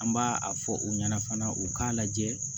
An b'a a fɔ u ɲɛna fana u k'a lajɛ